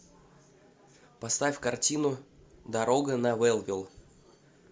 поставь картину дорога на вэлвилл